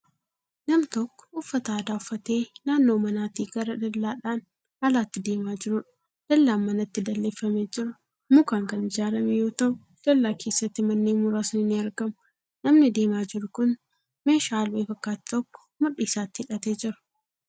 Nam tokko uffata aadaa uffatee naannoo manaatii gara dallaadhan alaatti deemaa jiruudha. dallaan manatti dalleeffamee jiru mukaan Kan ijaarame yoo ta'u dallaa keessatti manneen muraasni ni argamu. namni deemaa jiru Kuni meeshaa albee fakkaatu tokko mudhii isaatti hidhattee Jira.